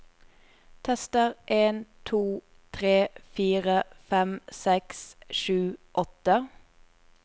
Tester en to tre fire fem seks sju åtte